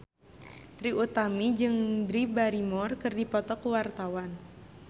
Trie Utami jeung Drew Barrymore keur dipoto ku wartawan